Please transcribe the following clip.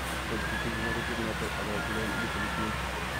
Floyd kiitenji ng'atutienotok ak kowek Lane bistolitnnyi.